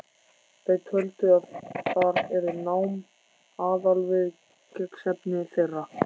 Þau töldu að þar yrði nám aðalviðfangsefni þeirra.